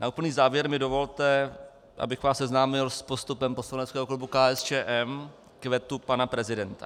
Na úplný závěr mi dovolte, abych vás seznámil s postupem poslaneckého klubu KSČM k vetu pana prezidenta.